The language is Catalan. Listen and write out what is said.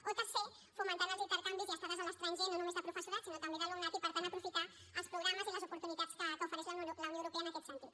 o tercer fomentant els intercanvis i estades a l’estranger no només de professorat sinó també d’alumnat i per tant aprofitar els programes i les oportunitats que ofereix la unió europea en aquest sentit